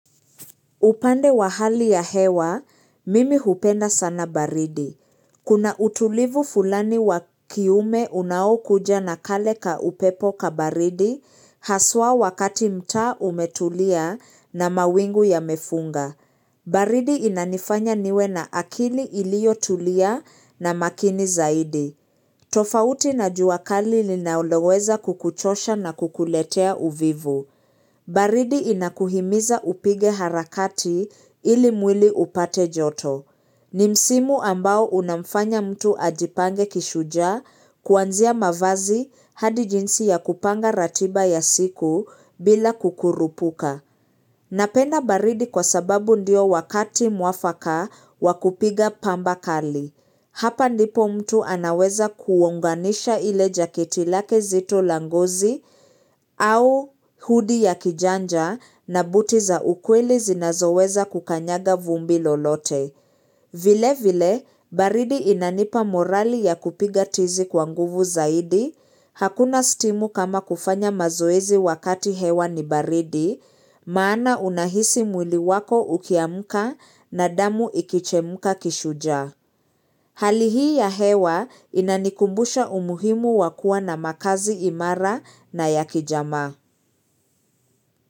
Upande wa hali ya hewa, mimi hupenda sana baridi. Kuna utulivu fulani wakiume unao kuja na kale ka upepo ka baridi, haswa wakati mtaa umetulia na mawingu yamefunga. Baridi inanifanya niwe na akili ilio tulia na makini zaidi. Tofauti na jua kali ninaloweza kukuchosha na kukuletea uvivu. Baridi inakuhimiza upige harakati ili mwili upate joto. Ni msimu ambao unamfanya mtu ajipange kishujaa kuanzia mavazi hadi jinsi ya kupanga ratiba ya siku bila kukurupuka. Napenda baridi kwa sababu ndio wakati mwafaka wakupiga pamba kali. Hapa ndipo mtu anaweza kuonganisha ile jacket lake zito la ngozi au hoodie ya kijanja na buti za ukweli zinazoweza kukanyaga vumbi lolote. Vile vile, baridi inanipa morali ya kupiga tizi kwanguvu zaidi, hakuna stimu kama kufanya mazoezi wakati hewa ni baridi, maana unahisi mwili wako ukiamka na damu ikichemuka kishujaa. Hali hii ya hewa inanikumbusha umuhimu wakua na makazi imara na ya kijamaa.